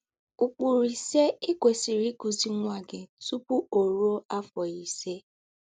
“Ụ́kpùrù Ísé Í Kwèsírì Íkụ́zírì Nwá Gí Tùpù Ó Rùó Áfọ́ Ísé”